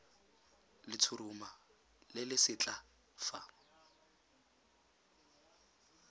letshoroma le le setlha fa